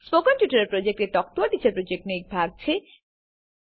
spoken tutorial project talk to a teacher પ્રોજેક્ટનો એક ભાગ છે